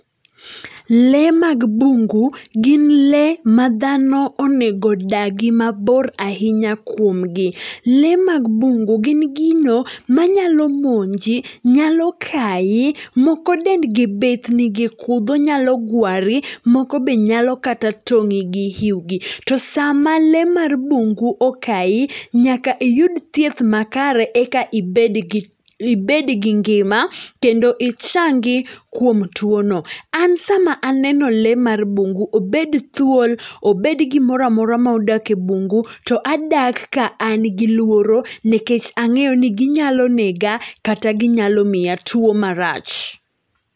Le mag bungu gi le ma dhano onego dagi mabor ahinya kuomgi. Le mag bungu, gin gino manyalo monji, nyalo kayi moko dendgi bith nigi kudho nyalo gwari, moko be nyalo kata tong'i gi iuwgi. To sama le mar bungu okayi, nyaka iyud thieth makare, eka ibed gi, ibed gi ngima, kendo ichangi kuom two no. An sama aneno le mar bungu, obed thuol, obed gimoro amora ma odak e bungu to adak ka an gi luoro nikech ang'eyo ni ginyalo nega kata ginyalo miya two marach.